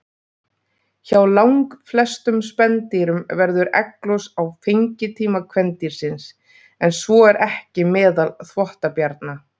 Hjá langflestum spendýrum verður egglos á fengitíma kvendýrsins, en svo er ekki meðal þvottabjarna.